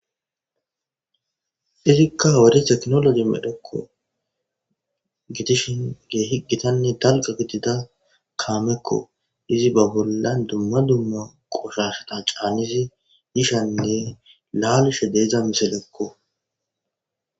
izikka owori teknoloji medhekko gitishin gee higitanne talqa gitida kaamekko izi ba bullan dumma dumma qoshashata caanizi yishanne laalushe deezdza miselekko